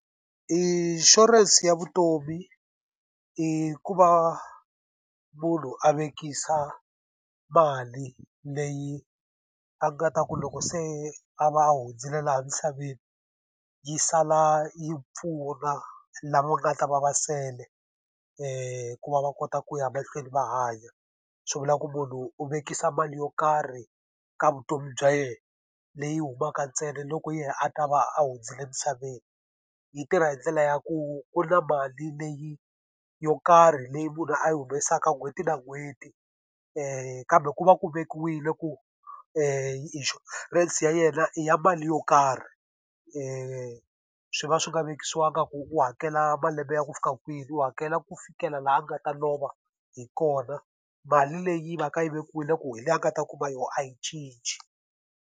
Inshurense ya vutomi i ku va munhu a vekisa mali leyi a nga ta ku loko se a va a hundzile laha emisaveni, yi sala yi pfuna lama nga ta va va sele hikuva va va kota ku ya mahlweni va hanya. Swi vula ku munhu u vekisa mali yo karhi ka vutomi bya yena, leyi humaka ntsena loko yena a ta va a hundzile emisaveni. Yi tirha hi ndlela ya ku ku na mali leyi yo karhi leyi munhu a yi humesaka n'hweti na n'hweti, kambe ku va ku vekiwile ku inshurense ya yena i ya mali yo karhi. swi va swi nga vekisiwanga ku u hakela malembe ya ku fika kwini, u hakela ku fikela laha a nga ta lova hi kona, mali leyi va ka yi vekiwile ku hi leyi a nga ta kuma yona, a yi cinci.